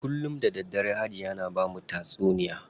Kullum da daddare Hajiya na bamu tatsuniya.